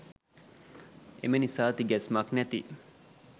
එම නිසා තිගැස්මක් නැති